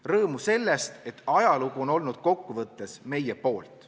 Rõõmu sellest, et ajalugu on olnud kokkuvõttes meie poolt.